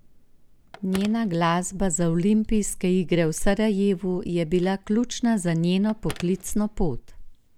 Njena glasba za olimpijske igre v Sarajevu je bila ključna za njeno poklicno pot.